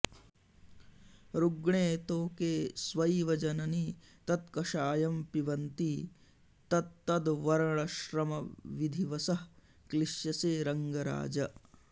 रुग्णे तोके स्व इव जननि तत्कषायं पिबन्ती तत्तद्वर्णश्रमविधिवशः क्लिश्यसे रङ्गराज